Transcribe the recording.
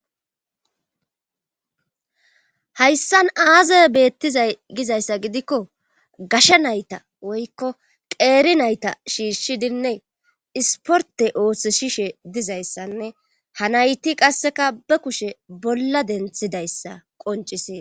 hayssan aaze beettizay gizayssa gidikko gasha nayta woykko qeeri nayta shiishshidinne isporte oothishishe dizayssanne ha nayti qasseka ba kushe bolla denthidayssa qoncises